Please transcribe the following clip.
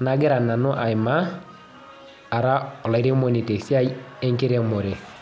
nagira nanu aimaa ara olairemoni tesiai enkiremore.